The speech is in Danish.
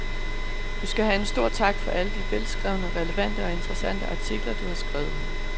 Du skal have en stor tak for alle de velskrevne, relevante og interessante artikler, du har skrevet.